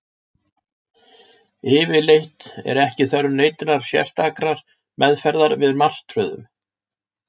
Yfirleitt er ekki þörf neinnar sérstakrar meðferðar við martröðum.